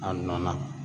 A nɔ na